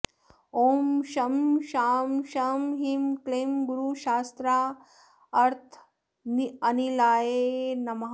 ॐ शं शां षं ह्रीं क्लीं गुरुशास्त्रार्थनिलयाय नमः